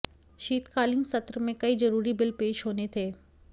शीतकालीन सत्र में कई जरूरी बिल पेश होने थे